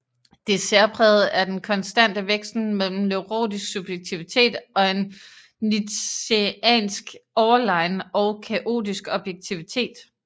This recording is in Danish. Det særprægede er den konstante vekslen mellem neurotisk subjektivitet og en nietzscheansk overlegen og kaotisk objektivitet